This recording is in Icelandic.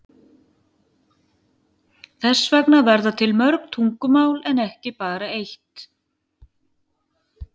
Þess vegna verða til mörg tungumál en ekki bara eitt.